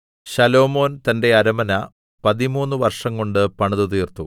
ശലോമോൻ തന്റെ അരമന പതിമൂന്ന് വർഷംകൊണ്ട് പണിതുതീർത്തു